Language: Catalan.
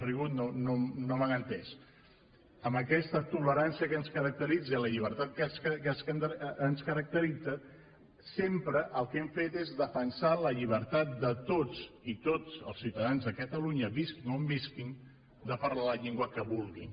rigut no m’han entès amb aquesta tolerància que ens caracteritza i amb la llibertat que ens caracteritza sempre el que hem fet és defensar la llibertat de tots i tots els ciutadans de catalunya visquin on visquin de parlar la llengua que vulguin